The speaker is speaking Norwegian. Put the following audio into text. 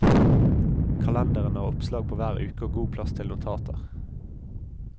Kalenderen har oppslag på hver uke og god plass til notater.